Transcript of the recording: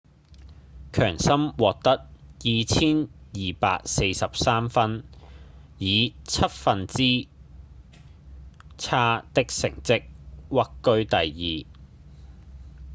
強森獲得 2,243 分以七分之差的成績屈居第二